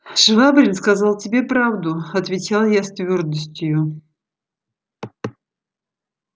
швабрин сказал тебе правду отвечал я с твёрдостью